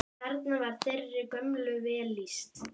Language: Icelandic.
Þarna var þeirri gömlu vel lýst.